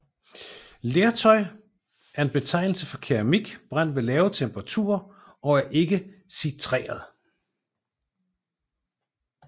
Lertøj er en betegnelse for keramik brændt ved lave temperaturer og er ikke sintret